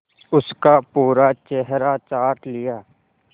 उसका पूरा चेहरा चाट लिया